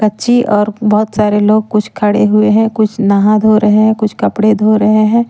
पक्षी और बहोत सारे लोग कुछ खड़े हुए हैं कुछ नहा धो रहे हैं कुछ कपड़े धो रहे हैं।